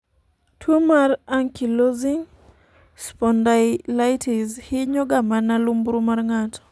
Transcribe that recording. tuo mar Ankylosing spondylitis hinyo ga mana lumbru mar ng'ato